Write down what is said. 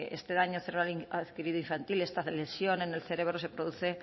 este daño cerebral adquirido infantil esta lesión en el cerebro se produce